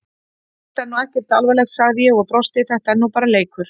Þetta er nú ekkert alvarlegt, sagði ég og brosti, þetta er nú bara leikur!